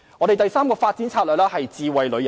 第三個發展策略是智慧旅遊。